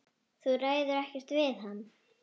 Þú ræður ekkert við hann.